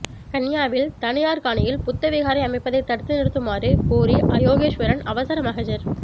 கன்னியாவில் தனியார் காணியில் புத்த விகாரை அமைப்பதை தடுத்து நிறுத்துமாறு கோரி யோகேஸ்வரன் அவசர மகஜர்